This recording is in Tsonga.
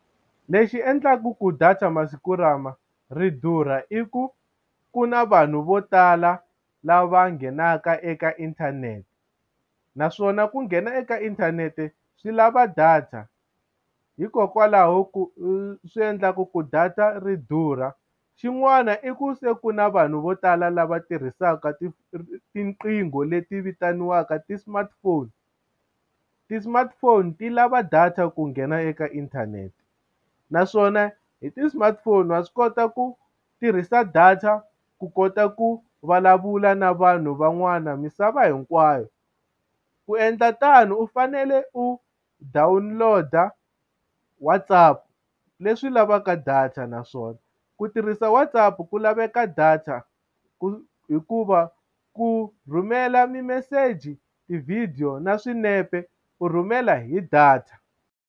Lexi endlaka ku data masiku lama ri durha i ku ku na vanhu vo tala lava nghenaka eka inthanete naswona ku nghena eka inthanete swi lava data hikokwalaho ku swi endlaka ku data ri durha xin'wana i ku se ku na vanhu vo tala lava tirhisaka tiqingho leti vitaniwaka ti-smartphone ti-smartphone ti lava data ku nghena eka inthanete naswona hi ti-smartphone wa swi kota ku tirhisa data ku kota ku vulavula na vanhu van'wana misava hinkwayo ku endla tano u fanele u download-a WhatsApp leswi lavaka data naswona ku tirhisa WhatsApp ku laveka data hikuva ku rhumela mimeseji tivhidiyo na swinepe u rhumela hi data.